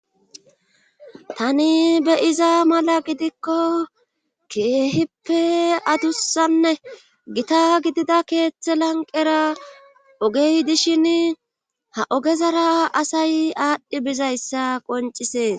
Tani be iza mala gidikko keehippe adussanne gita gidida keeththe lanqera ogey dishin ha ogezara asay aadhdhi bizayssa qoncisees.